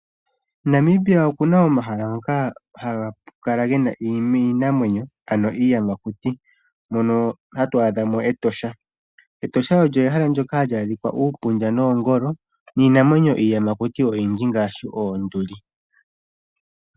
Namibia okuna omahala ngoka haga kala gena iinamwenyo ano iiyamakuti, mono hatu adhamo Etosha National Park . Etosha National Park olyo ehala ndyoka hali adhika uupundja noongolo, niinamwenyo mbyoka iiyamakuti oyindji ngaashi oonduli.